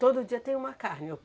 Todo dia tem uma carne? Ou